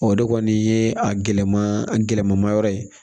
O de kɔni ye a gɛlɛma a gɛlɛma yɔrɔ ye